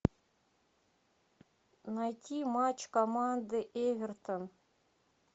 найти матч команды эвертон